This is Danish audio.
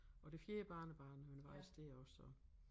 Og det fjerde barnebarn han var faktisk dér også så